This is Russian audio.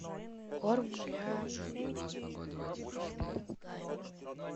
корм для попугая